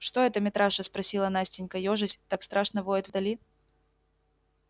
что это митраша спросила настенька ёжась так страшно воет вдали